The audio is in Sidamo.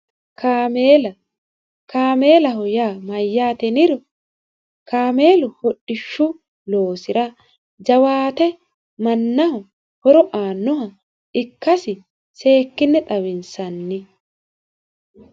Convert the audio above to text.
kaameelaho yaa mayyaate yinniro kaameelu hodhishshu loosira jawaate mannaho horo aannoha ikkasi seekkinne xawinsanni.